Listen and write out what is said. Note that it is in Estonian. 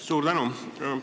Suur tänu!